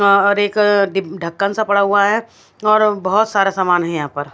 और एक डिब ढक्कन सा पड़ा हुआ है और बहत सारा सामान है यहाँ पर--